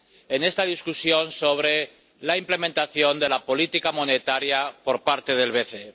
en esta discusión sobre la ejecución de la política monetaria por parte del BCE.